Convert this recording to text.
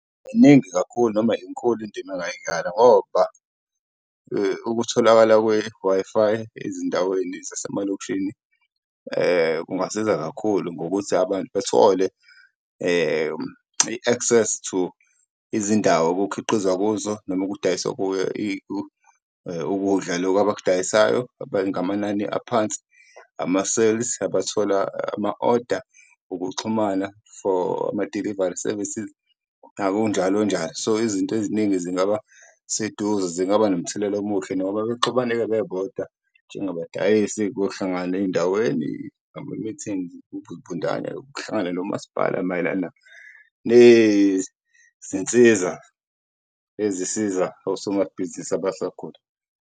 Iningi kakhulu noma inkulu indima engayidlala ngoba ukutholakala kwe-Wi-Fi ezindaweni zasemalokishini kungasiza kakhulu ngokuthi abantu bethole i-access to izindawo okukhiqizwa kuzo noma okudayiswa ukudla loku abadayisayo ngamanani aphansi. Amasevisi abathola ama-oda, kuxhumana for ama-delivery services njalo njalo, so izinto eziningi zingaba seduze zingaba nomthelela omuhle noma bexubane-ke bebodwa njengabadayisi kuyohlanganwa ey'ndaweni ngama-meetings ukuhlangana nomasipala mayelana nezinsiza ezisiza osomabhizinisi abasakhula.